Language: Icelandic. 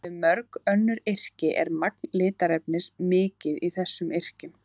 Miðað við mörg önnur yrki er magn litarefnis mikið í þessum yrkjum.